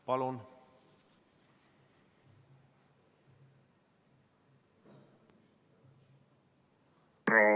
Palun!